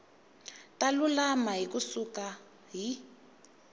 ta lulama ku suka hi